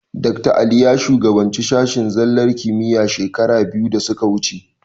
Dakta Ali ya shugabanci sashen zallar kimiyya shekara biyu da suka wuce.